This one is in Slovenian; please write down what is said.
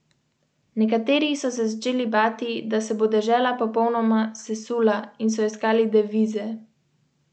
Ob prvem stiku so nas ljudje iz tabora opozorili, da je fotografiranje nezaželeno, celo prepovedano, potem pa se je naš obisk sprevrgel v nadvse prijeten klepet.